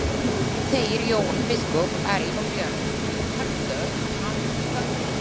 Þeir Jón biskup, Ari og Björn horfðu á hann þöglir.